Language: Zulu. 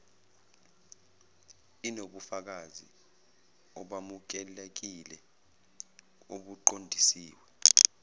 inobufakazi obamukelekile obuqondiswe